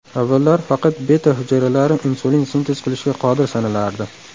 Avvallari faqat beta- hujayralari insulin sintez qilishga qodir sanalardi.